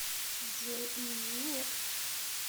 джой мм нет